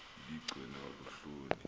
ibi gcinwa luhloni